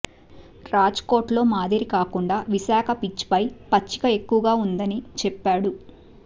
రాజ్కోట్లో మాదిరి కాకుండా విశాఖ పిచ్పై పచ్చిక ఎక్కువగా ఉండదని చెప్పాడు